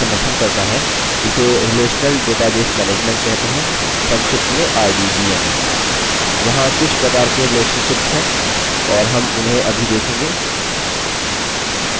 चूँकि base इस संकल्पना का समर्थन करता है इसे relational database management कहते हैं संक्षिप्त में rdbms